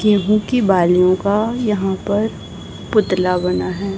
गेहूं की बालियों का यहां पर पुतला बना है।